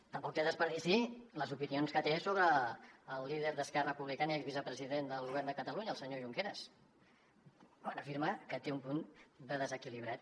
tampoc tenen desperdici les opinions que té sobre el líder d’esquerra republicana i vicepresident del govern de catalunya el senyor junqueras quan afirma que té un punt de desequilibrat